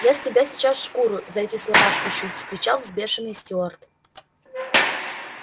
я с тебя сейчас шкуру за эти слова спущу вскричал взбешённый стюарт